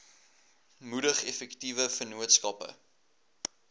moedig effektiewe vennootskappe